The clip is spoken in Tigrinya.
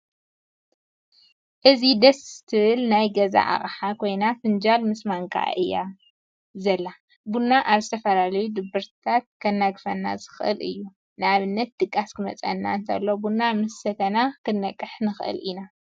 እዘይደስ ክትብል ናይ ገዛ ኣቅሓ ኮይና ፍንጃል ምስ ማንካኣ እያ ዘላ። ቡና ካብ ዝተፈላለዩ ድብርትታት ከናግፈና ዝክእል እዩ። ንኣብነት ድቃስ ክመፅና እተሎ ቡና ምስ ሰተና ከንቀሐና ይክእል እዩ።